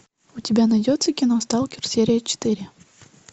у тебя найдется кино сталкер серия четыре